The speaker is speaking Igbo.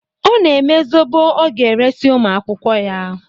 Ọ na-eme zobo ọ ga-eresi ụmụ akwụkwọ ya.